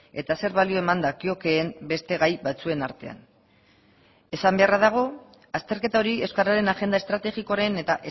eta zer balio eman dakiokeen beste gai batzuen artean esan beharra dago azterketa hori euskararen agenda estrategikoaren eta